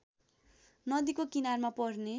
नदीको किनारमा पर्ने